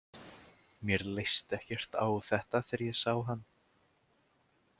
Mér leist ekkert á þetta þegar ég sá hann.